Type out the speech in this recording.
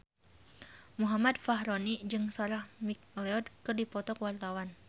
Muhammad Fachroni jeung Sarah McLeod keur dipoto ku wartawan